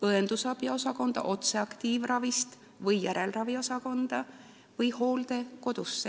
On võimalus minna otse aktiivravist õendusabiosakonda või järelraviosakonda või hooldekodusse.